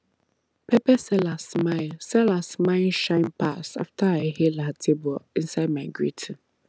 pepper seller smile seller smile shine pass after i hail her table inside my greeting